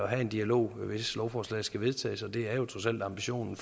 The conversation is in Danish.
have en dialog hvis lovforslaget skal vedtages og det er trods alt ambitionen